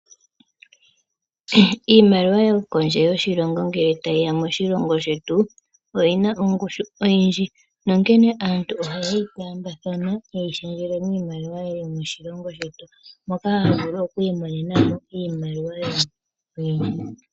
Iimaliwa yo kondje yoshilongo ngele ta yiya moshilongo shetu oyina ongushu oyindji nonkene aantu oha yeyi taambathana ,ha yeyi shendjele miimaliwa ya yomoshilongo shetu moka haya vulu oku imonenamo iimaliwa yawo oyindji.